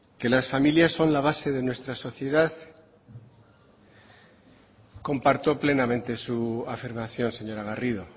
que las familias son la base de nuestra sociedad comparto plenamente su afirmación señora garrido